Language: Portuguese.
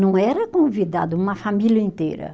Não era convidado uma família inteira.